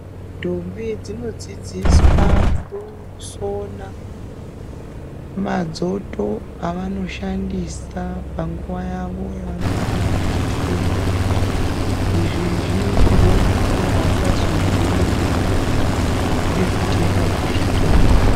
Ntombi dzinodzidziswa kusona madzoto avanoshandisa panguva yavo yavanongana vechiteera. Izvi zvinoitirwe kuti vasazodhurirwa ngekude kutenga kuzvitoro.